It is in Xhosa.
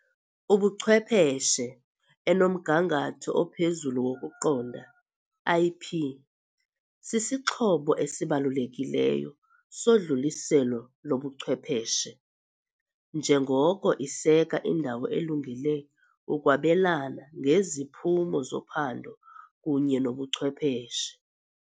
ubuchwepheshe enomgangatho ophezulu wokuqonda, IP, sisixhobo esibalulekileyo sodluliselo lobuchwepheshe, njengoko iseka indawo elungele ukwabelana ngeziphumo zophando kunye nobuchwepheshe.